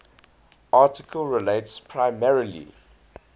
article relates primarily